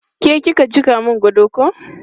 Ke ki ka jiƙa mun gado ko?